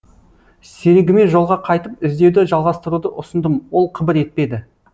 серігіме жолға қайтып іздеуді жалғастыруды ұсындым ол қыбыр етпеді